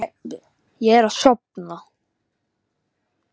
Ég er að sofna.